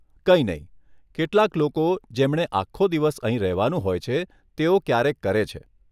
કંઈ નહીં, કેટલાક લોકો, જેમણે આખો દિવસ અહીં રહેવાનું હોય છે, તેઓ ક્યારેક કરે છે.